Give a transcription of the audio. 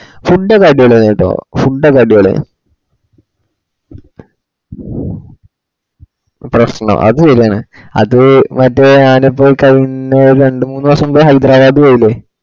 food ഒക്കെ അടിപൊളിയാന്നട്ട food ഒക്കെ അടിപൊളിയാണ് പ്രെശ്നം അത് ശെരിയാണ് അത് മറ്റേ ആട പോയി കഴിയുന്നേന് ഒര് രണ്ട് മുനീസം മുന്നേ ഹൈദരാബാദ് പോയിലെ